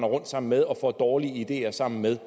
rundt sammen med og får dårlige ideer sammen med